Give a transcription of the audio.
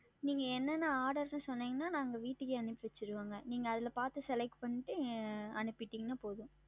நீங்கள் என்னென்ன Orders ன்னு சொன்னீங்கன்னா நாங்க வீட்டுக்கே அனுப்பி வச்சிருவோங்க. நீங்க அதுல பாத்து Select பண்ட்டு அனுப்பிட்டீங்கன்னா போதும்.